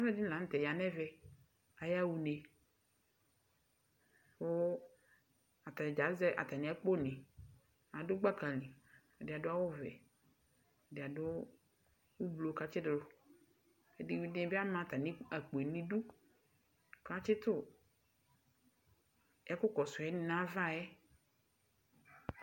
Uvidibi la nu tɛ aya nɛvɛ ayawa une ku atani dza azɛ atami akponi adu gbaka ɛdini adu awu wɛ ɛdini adu awu katsidu ɛdini amakpo nu idu ɛdini atsitu ɛkukɔsu nava yɛ